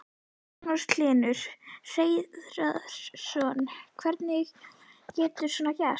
Magnús Hlynur Hreiðarsson: Hvernig getur svona gerst?